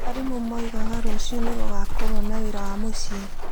Arimũ moigaga rũciũ nĩ gũgaakorũo na wĩra wa mũciĩ.